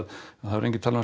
það hefur enginn talað um